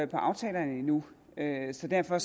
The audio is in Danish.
aftalerne endnu så derfor